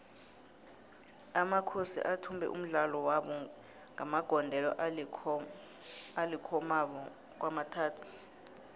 amakhosi athumbe umdlalo wabo ngamagondelo alikhomaba kwamathathu